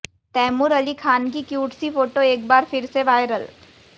तैमूर अली खान की क्यूट सी फोटो एक बार फिर से वायरल